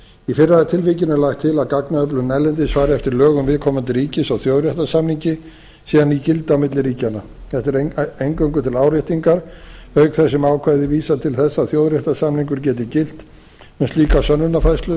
í fyrra tilvikinu er lagt til að gagnaöflunin erlendis fari eftir lögum viðkomandi ríkis og þjóðréttarsamningi sé hann í gildi á milli ríkjanna þetta er eingöngu til áréttingar auk þess sem ákvæðið vísar til þess að þjóðréttarsamningur geti gilt um slíka sönnunarfærslu